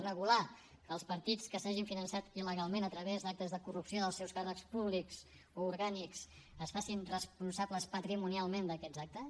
regular que els partits que s’hagin finançat il·legalment a través d’actes de corrupció dels seus càrrecs públics o orgànics es facin responsables patrimonialment d’aquests actes